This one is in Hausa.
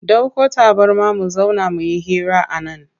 Dauko tabarma mu zauna muyi hira a nan.